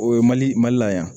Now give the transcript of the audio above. O ye mali mali la yan